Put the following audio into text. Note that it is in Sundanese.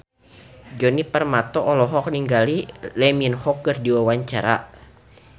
Djoni Permato olohok ningali Lee Min Ho keur diwawancara